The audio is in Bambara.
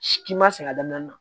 K'i ma sɛgɛn a daminɛ na